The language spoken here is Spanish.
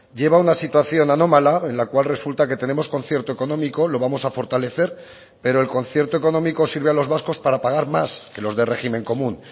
lleva a una situación anómala en la cual resulta que tenemos concierto económico lo vamos a fortalecer pero el concierto económico sirve a los vascos para pagar más que los de régimen común